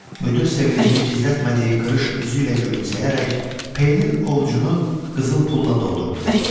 Müdir sevincini gizlətmədiyi qırış üzü ilə gülümsəyərək P-nin ovcunu qızıl pulla doldurdu.